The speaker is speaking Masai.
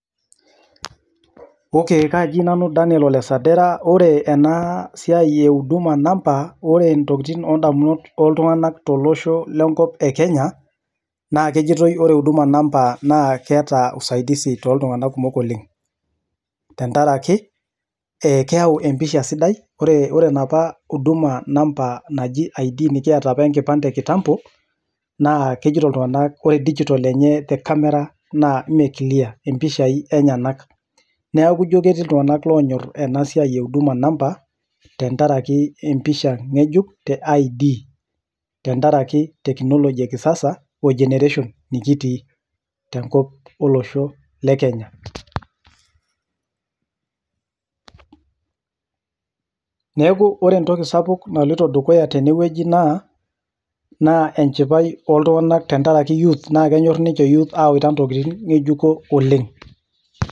Okay kaji nanu Daniel Ole Sadira, ore ena siai e huduma namba ,ore ntokitin ondamunot oltunganak to losho le nkop e Kenya naa kejotoi ore huduma namba naa keata usaidizi too iltungana kumok oleng, tengaraki keyau empisha sidai. Ore napa huduma namba najii ID nikieta nkipande ekitambo, naa kejoto iltungana kore dijitol enye te camera naa mee mpishai enyenak. Naaku ijo ketii iltunganak loonyor ena siai e huduma namba tengaraki empisha ng'ejuk te ID, tengaraki teknoloji ekisasa o generation nikitii te nkop elosho le Kenya. Neaku ore entoki sapuk oleng naloto dukuya teneweji naa enchipai ooltunganak tengaraki [cs[youth naa kenyorr ninche [cs[youth aunga ntokitin ng'ejuko oleng.